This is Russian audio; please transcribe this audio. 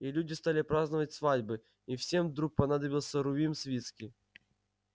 и люди стали праздновать свадьбы и всем вдруг понадобился рувим свицкий